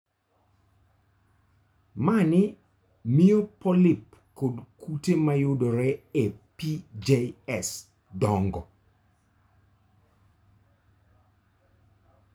Mani miyo polyp kod kute ma yudore e PJS dongo.